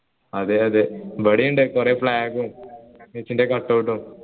അതെ അതെ ഇവിടെ ഉണ്ട് കുറേ flag ഉം cut out ഉം